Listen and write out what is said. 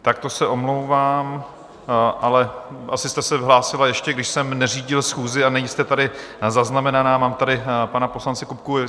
Tak to se omlouvám, ale asi jste se hlásila ještě, když jsem neřídil schůzi, a nejste tady zaznamenaná, mám tady pana poslance Kupku.